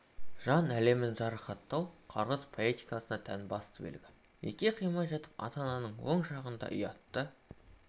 жан әлемін жарақаттау қарғыс поэтикасына тән басты белгі неке қимай жатып ата-ананың оң жағында ұятты